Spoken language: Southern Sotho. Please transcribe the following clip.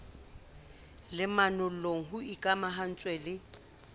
le manollong ho ikamahantswe le